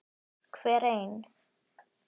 Hver ein